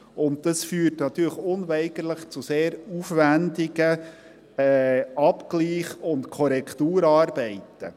Und dies führt natürlich unweigerlich zu sehr aufwendigen Abgleich- und Korrekturarbeiten.